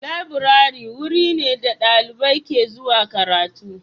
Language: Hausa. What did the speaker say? Laburare wuri ne da dalibai ke zuwa karatu.